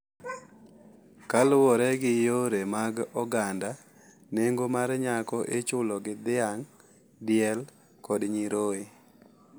Kaluwore gi yore mag oganda, nengo mar nyako ichulo gi dhiang', diel, kod nyiroye,